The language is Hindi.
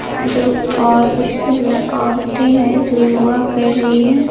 दो और कुछ ल औरतें हैं जो योगा कर रही हैं।